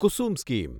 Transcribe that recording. Kusum scheme